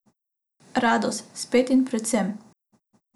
Radost, spet in predvsem.